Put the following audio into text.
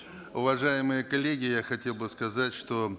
уважаемые коллеги я хотел бы сказать что